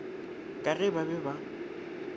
ka ge ba be ba